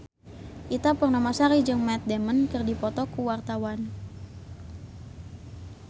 Ita Purnamasari jeung Matt Damon keur dipoto ku wartawan